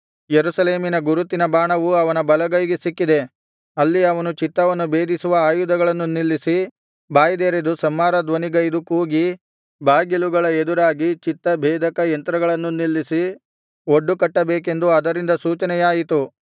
ಯೆರೂಸಲೇಮಿನ ಗುರುತಿನ ಬಾಣವು ಅವನ ಬಲಗೈಗೆ ಸಿಕ್ಕಿದೆ ಅಲ್ಲಿ ಅವನು ಚಿತ್ತವನ್ನು ಭೇದಿಸುವ ಆಯುಧಗಳನ್ನು ನಿಲ್ಲಿಸಿ ಬಾಯಿದೆರೆದು ಸಂಹಾರ ಧ್ವನಿಗೈದು ಕೂಗಿ ಬಾಗಿಲುಗಳ ಎದುರಾಗಿ ಚಿತ್ತ ಭೇದಕ ಯಂತ್ರಗಳನ್ನು ನಿಲ್ಲಿಸಿ ಒಡ್ಡು ಕಟ್ಟಬೇಕೆಂದು ಅದರಿಂದ ಸೂಚನೆಯಾಯಿತು